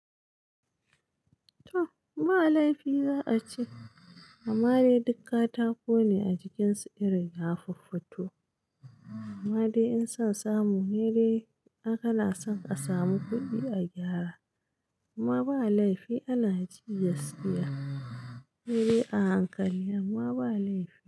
Toh, ba laifi za'a ce, amma dai duk katako ne a jikin su irin ya fuffuto. Amma dai in son samu ne dai, ai kana son a samu kuɗi a gyara. Amma ba laifi ana ji gaskiya, saidai a hankali amma ba laifi,